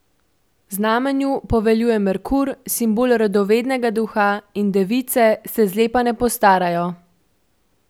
Znamenju poveljuje Merkur, simbol radovednega duha in device se zlepa ne postarajo.